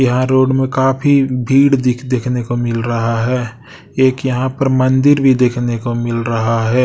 यहां रोड में काफी भीड़ दिख देखने को मिल रहा है। एक यहां पर मंदिर भी देखने को मिल रहा है।